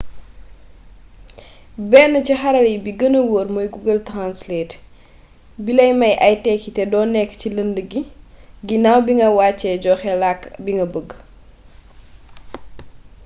benn ci xarala yi bi gëna woor mooy google translate bilay may ay tékki te doo nekk ci lënd gi ginnaw bi nga wàccee joxe làkk bi nga bëgg